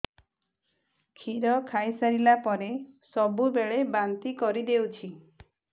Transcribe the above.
କ୍ଷୀର ଖାଇସାରିଲା ପରେ ସବୁବେଳେ ବାନ୍ତି କରିଦେଉଛି